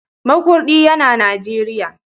Makurdi yana Najeriya.